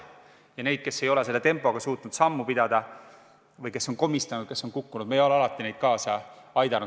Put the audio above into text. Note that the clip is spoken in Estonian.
Neil, kes selle tempoga ei ole suutnud sammu pidada või kes on komistanud, kes on kukkunud, ei ole me alati kaasa tulla aidanud.